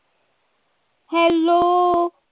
Hello